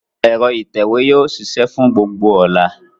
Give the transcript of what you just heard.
Ẹ̀rọ ìtẹ̀wé yóò ṣiṣẹ́ fún gbogbo ọ̀la.